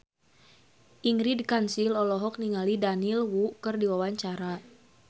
Ingrid Kansil olohok ningali Daniel Wu keur diwawancara